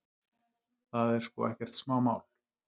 Það er sko ekkert smámál.